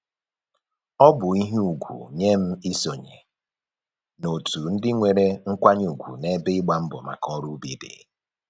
Ọ bụ ihe ugwu nye m isonye n'otu ndị nwere nkwanye ugwu n'ebe ịgba mbọ maka ọrụ ubi dị